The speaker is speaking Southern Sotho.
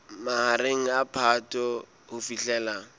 mahareng a phato ho fihlela